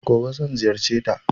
Gobe zan ziyarceta.